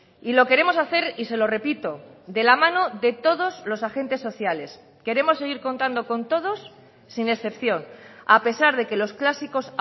y lo queremos hacer y se lo repito de la mano de todos los agentes sociales queremos seguir contando con todos sin excepción a pesar de que los clásicos